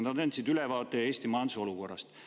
Nad andsid ülevaate Eesti majanduse olukorrast.